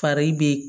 Fari be